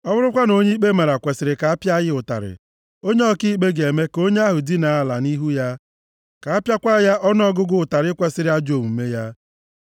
Ọ bụrụkwa na onye ikpe mara kwesiri ka apịa ya ụtarị, onye ọkaikpe ga-eme ka onye ahụ dinaa ala nʼihu ya, ka apịakwa ya ọnụọgụgụ ụtarị kwesiri ajọ omume ya,